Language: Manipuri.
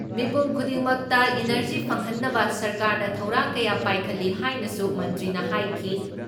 ꯃꯤꯄꯨꯝ ꯈꯨꯗꯤꯡꯃꯛꯇ ꯏꯅꯔꯖꯤ ꯐꯪꯍꯟꯅꯕ ꯁꯔꯀꯥꯔꯅ ꯊꯧꯔꯥꯡ ꯀꯌꯥ ꯄꯥꯏꯈꯠꯂꯤ ꯍꯥꯏꯅꯁꯨ ꯃꯟꯇ꯭ꯔꯤꯅ ꯍꯥꯏꯈꯤ ꯫